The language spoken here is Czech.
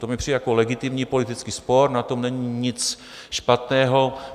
To mi přijde jako legitimní politický spor, na tom není nic špatného.